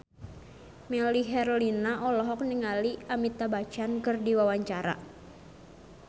Melly Herlina olohok ningali Amitabh Bachchan keur diwawancara